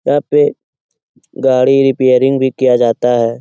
यहाँ पे गाड़ी रिपेयरिंग भी किया जाता है।